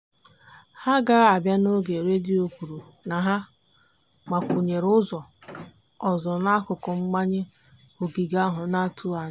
ha agaghị abịa n'oge redio kwuru na ha gbakwunyere ụzọ ọzọ n'akụkụ mbanye ogige ahụ n'atụghị anya.